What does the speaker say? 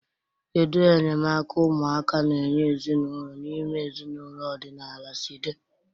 Kedu enyemaka ụmụaka na-enye ezinụlọ n'ime ezinaụlọ ọdịnala si dị?